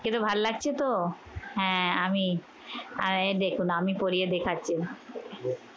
কিরে ভাল্লাগছে তো? হ্যাঁ আমি আহ এই দেখুন আমি পরিয়ে দেখাচ্ছি।